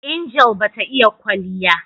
Angel bata iya in kwalya